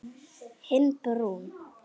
Hinn brúnn.